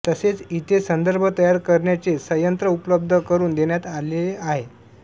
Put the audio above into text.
तसेच इथे संदर्भ तयार करण्याचे संयंत्र उपलब्ध करून देण्यात आलेले आहे